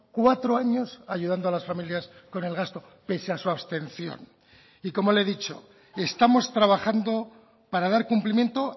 cuatro años ayudando a las familias con el gasto pese a su abstención y como le he dicho estamos trabajando para dar cumplimiento